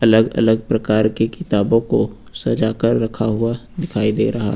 अलग अलग प्रकार के किताबों को सजाकर रखा हुआ दिखाई दे रहा।